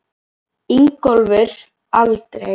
Ingólfur: Aldrei?